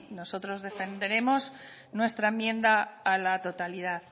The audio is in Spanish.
nosotros defenderemos nuestra enmienda a la totalidad